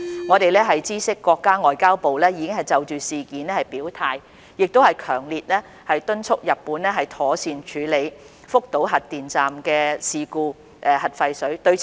我們知悉國家外交部已經就事件表態，亦強烈敦促日本妥善處理福島核電站核廢水的事故。